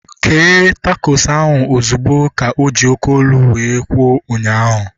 Kee takos ahu ozugbo! Ka oji oké olu wee kwuo ụnyaahụ